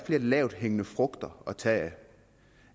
flere lavthængende frugter at tage